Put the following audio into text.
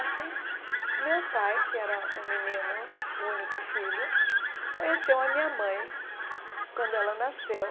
Assim, meu pai, que era um menino, o único filho, conheceu a minha mãe quando ela nasceu.